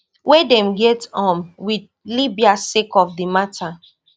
wey dem get um with libya sake of di mata